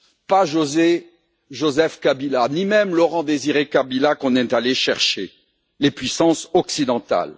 Pas Joseph Kabila, ni même Laurent Désiré Kabila, qu'on est allé chercher, mais les puissances occidentales.